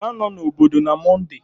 Ị ga-anọ n'obodo na Mọnde?